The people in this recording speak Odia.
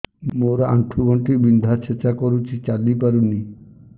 ମୋର ଆଣ୍ଠୁ ଗଣ୍ଠି ବିନ୍ଧା ଛେଚା କରୁଛି ଚାଲି ପାରୁନି